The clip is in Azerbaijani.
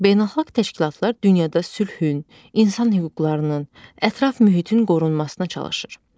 Beynəlxalq təşkilatlar dünyada sülhün, insan hüquqlarının, ətraf mühitin qorunmasına çalışır.